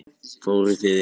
Fóruð þið eitthvað?